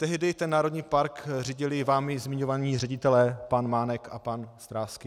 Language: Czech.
Tehdy ten národní park řídili vámi zmiňovaní ředitelé pan Mánek a pan Stráský.